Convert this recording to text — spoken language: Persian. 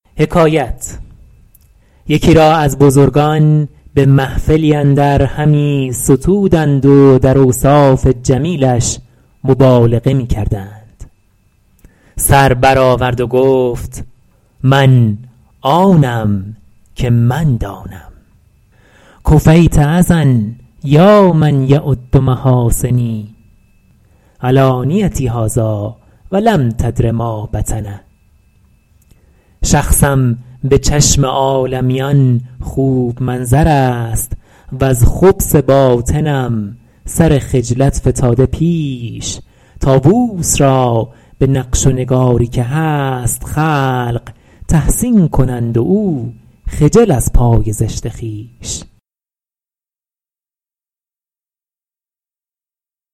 یکی را از بزرگان به محفلی اندر همی ستودند و در اوصاف جمیلش مبالغه می کردند سر بر آورد و گفت من آنم که من دانم کفیت اذی یا من یعد محاسنی علانیتی هذٰاٰ ولم تدر ما بطن شخصم به چشم عالمیان خوب منظر است وز خبث باطنم سر خجلت فتاده پیش طاووس را به نقش و نگاری که هست خلق تحسین کنند و او خجل از پای زشت خویش